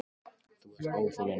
Þú ert óþolinmóður.